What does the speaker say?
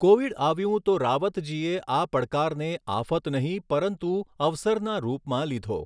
Covid આવ્યું તો રાવતજીએ આ પડકારને આફત નહીં, પરંતુ અવસરના રૂપમાં લીધો.